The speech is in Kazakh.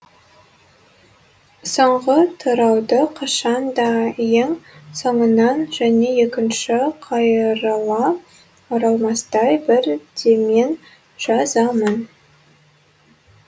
соңғы тарауды қашан да ең соңынан және екінші қайырыла оралмастай бір деммен жазамын